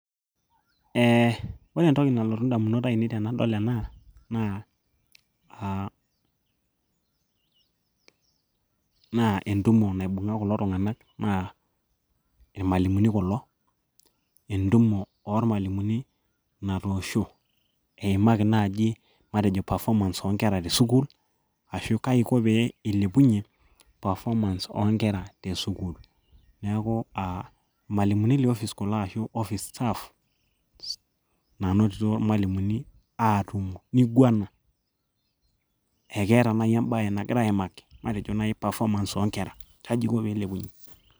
eh, ore entoki nalotu indamunot ainei tenadol ena naa uh pause naa entumo naibung'a kulo tung'anak naa irmalimuni kulo entumo ormalimuni natoosho eimaki naji matejo perfomance oonkera tesukul ashu kaji iko piilepunyie perfomance oonkera tesukul neeku uh, irmalimuni le office kulo ashu office staff nanotito irmalimuni aatumo niguana ekeeta naaji embaye nagira aimaki matejo naaji perfomance oonkera kaji iko piilepunyie.